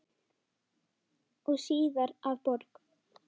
og síðar að borg.